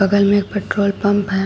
बगल में एक पेट्रोल पंप है।